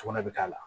Sugunɛ bɛ k'a la